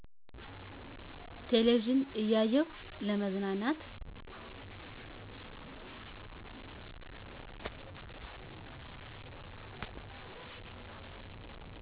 ቴለቪዥን እያየው ለመዝናናት